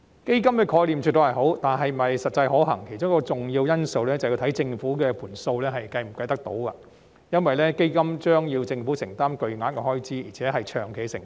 建議的基本概念絕對是好的，至於是否實際可行，其中一個重要因素是要看政府的帳目是否可行，因為基金將要令政府承擔巨額開支，而且是一項長期的承擔。